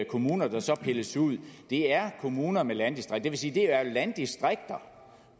kommuner der så pilles ud er kommuner med landdistrikt det vil sige at det er landdistrikter